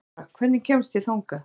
Eyþóra, hvernig kemst ég þangað?